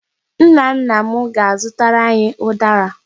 Nna nna m ga-azụtara anyị ụdara.